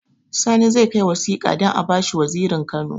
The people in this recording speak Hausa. Sani zai kai wasika don abashi wazirin kano